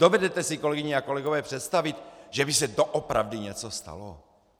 Dovedete si, kolegyně a kolegové, představit, že by se doopravdy něco stalo?